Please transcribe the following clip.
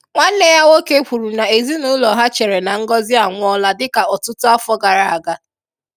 Nwanne ya nwoke kwuru na ezinaụlọ ha chere na Ngozi anwụọla dịka ọtụtụ afọ gara aga.